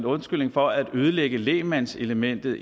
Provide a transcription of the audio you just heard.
undskyldning for at ødelægge lægmandselementet